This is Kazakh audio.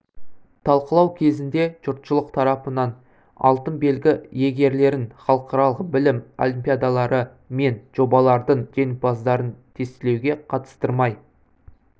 талқылау кезінде жұртшылық тарапынан алтын белгі иегерлерін халықаралық білім олимпиадалары мен жобалардың жеңімпаздарын тестілеуге қатыстырмай